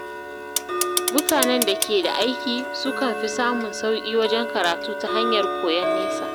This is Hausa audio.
Mutanen da ke da aiki sukan fi samun sauƙi wajen karatu ta hanyar koyon nesa..